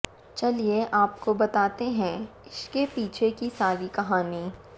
चलिए आपको बताते है इश्के पीछे कि सारी कहानी